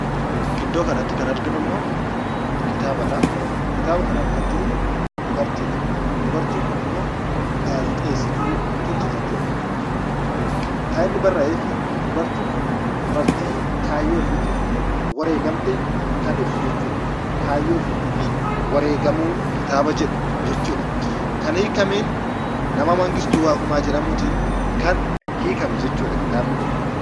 Iddoo kanatti kan arganu immoo, kitaabadha. Kitaaba kana irraa kan jiru dubartiidha. Dubartiin Kun immoo gaazixeesituu turte jechuudha. Kan inni barraa'eefi dubartiin Kun dubartii kaayyoo ofiitiif wareegamte kan ibsu jechuudha. Kaayyoo ofiitiifii wareegamuu kitaaba jedhu jechuudha. Kan hiikameen nama Mangistuu Waaqumaan jedhamuutiin kan hiikame jechuudha kitaabni kun.